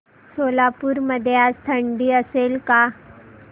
सोलापूर मध्ये आज थंडी असेल का